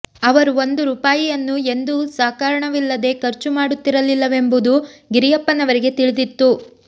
ಅವರು ಒಂದು ರೂಪಾಯಿಯನ್ನೂ ಎಂದೂ ಸಕಾರಣವಿಲ್ಲದೇ ಖರ್ಚು ಮಾಡುತ್ತಿರಲಿಲ್ಲವೆಂಬುದು ಗಿರಿಯಪ್ಪನವರಿಗೆ ತಿಳಿದಿತ್ತು